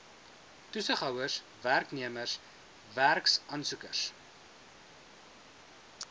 toesighouers werknemers werksaansoekers